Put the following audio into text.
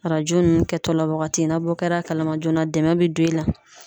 Arajo nunnu kɛtɔla wagati , na bɔ kɛra a kalama joona dɛmɛ be don e la.